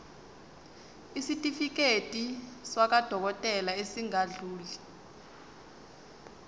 isitifiketi sakwadokodela esingadluli